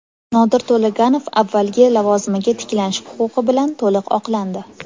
Nodir To‘laganov avvalgi lavozimiga tiklanish huquqi bilan to‘liq oqlandi.